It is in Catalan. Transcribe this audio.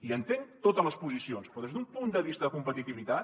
i entenc totes les posicions però des d’un punt de vista de competitivitat